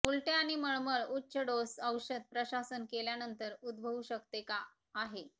उलट्या आणि मळमळ उच्च डोस औषध प्रशासन केल्यानंतर उद्भवू शकते का आहे